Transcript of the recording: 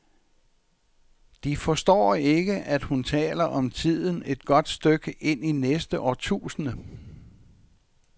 De forstår ikke, at hun taler om tiden et godt stykke inde i næste årtusinde.